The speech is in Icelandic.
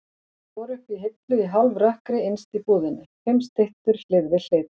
Þær voru uppi á hillu í hálfrökkri innst í búðinni, fimm styttur hlið við hlið.